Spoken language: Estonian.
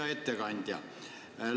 Hea ettekandja!